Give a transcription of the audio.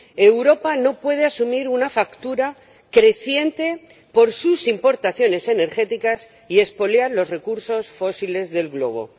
Europa no puede asumir una factura creciente por sus importaciones energéticas y expoliar los recursos fósiles del Globo.